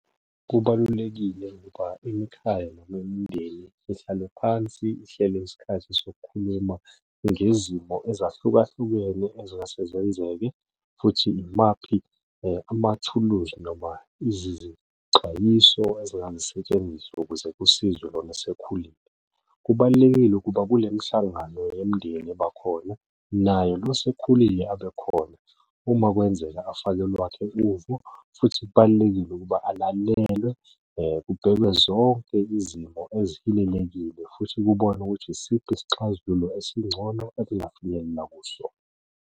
Kubalulekile ngoba imikhaya noma imindeni ihlale phansi ihlele isikhathi sokukhuluma ngezimo ezahlukahlukene ezingase zenzeke, futhi imaphi amathuluzi noma izixwayiso ezingasetshenziswa ukuze kusizwe lona osekhulile. Kubalulekile ukuba kule mihlangano yemindeni eba khona naye lo osekhulile abe khona uma kwenzeka afake olwakhe uvo, futhi kubalulekile ukuba alanyulelwe kubhekwe zonke izimo ezihilelekile, futhi kubonwe ukuthi isiphi isixazululo esingcono ekungafinyelelwa kuso.